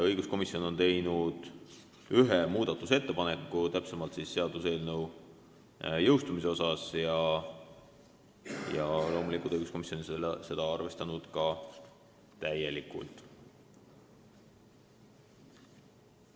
Õiguskomisjon on teinud ühe muudatusettepaneku, täpsemalt seaduseelnõu jõustumise kohta, ja loomulikult on õiguskomisjon seda arvestanud täielikult.